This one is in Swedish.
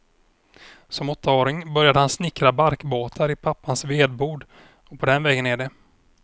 Som åttaåring började han snickra barkbåtar i pappans vedbod och på den vägen är det.